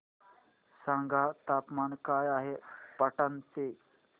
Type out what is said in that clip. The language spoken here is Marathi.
सांगा तापमान काय आहे पाटणा चे